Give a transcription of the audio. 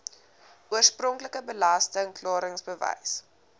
oorspronklike belasting klaringsbewys